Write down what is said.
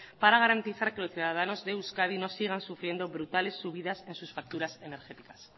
para garantizar que los ciudadanos de euskadi no sigan sufriendo brutales subidas en sus facturas energéticas